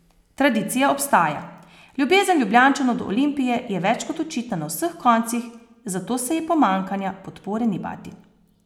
Tradicija obstaja, ljubezen Ljubljančanov do Olimpije je več kot očitna na vseh koncih, zato se ji pomanjkanja podpore ni bati.